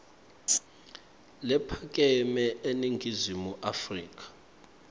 lephakeme eningizimu afrika